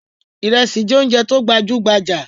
Ìrẹsí jẹ oúnjẹ tí ó gbajú gbajà.